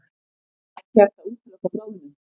Ekki hægt að útiloka bráðnun